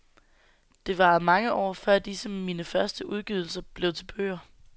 Det varede mange år, før disse mine første udgydelser blev til bøger.